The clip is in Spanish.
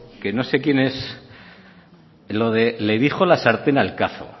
que no sé quién es lo de le dijo la sartén al cazo